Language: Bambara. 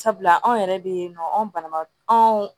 Sabula anw yɛrɛ bɛ yen nɔ anw bana anw